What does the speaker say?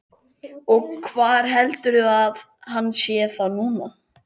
Og hvar heldurðu að hann sé þá núna?